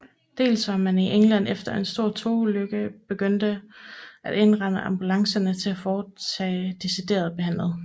Dels var man i England efter en stor togulykke begyndt at indrette ambulancerne til at foretage decideret behandling